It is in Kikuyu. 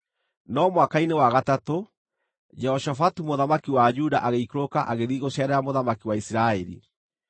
No mwaka-inĩ wa gatatũ, Jehoshafatu mũthamaki wa Juda agĩikũrũka, agĩthiĩ gũceerera mũthamaki wa Isiraeli.